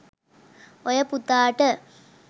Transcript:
ඔය පුතාට